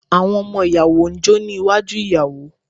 Àwọn ọmọ ìyàwó ń jó ní iwájú ìyàwó.